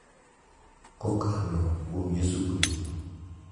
kokalo kuom Yesu Kristo.